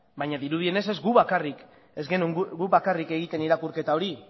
baina dirudienez ez genuen guk bakarrik egiten irakurketa hori